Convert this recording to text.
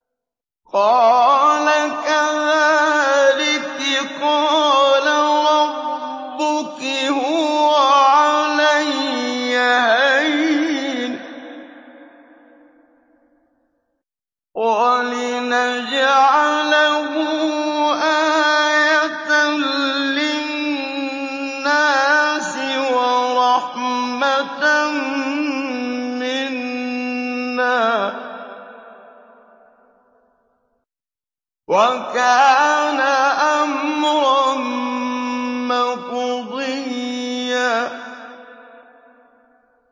قَالَ كَذَٰلِكِ قَالَ رَبُّكِ هُوَ عَلَيَّ هَيِّنٌ ۖ وَلِنَجْعَلَهُ آيَةً لِّلنَّاسِ وَرَحْمَةً مِّنَّا ۚ وَكَانَ أَمْرًا مَّقْضِيًّا